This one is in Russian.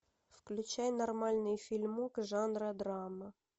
включай нормальный фильмок жанра драма